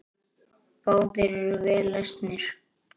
Báðir eru vel lesnir.